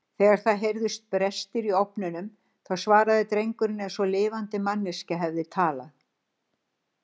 Þegar það heyrðust brestir í ofninum þá svaraði drengurinn eins og lifandi manneskja hefði talað.